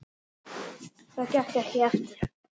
Það gekk ekki eftir.